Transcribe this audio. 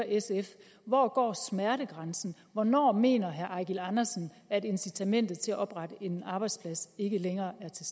sf hvor går smertegrænsen hvornår mener herre eigil andersen at incitamentet til at oprette en arbejdsplads ikke længere er til